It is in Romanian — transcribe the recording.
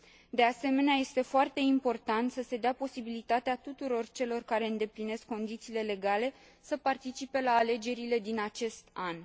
De asemenea, este foarte important să se dea posibilitatea tuturor celor care îndeplinesc condițiile legale să participe la alegerile din acest an.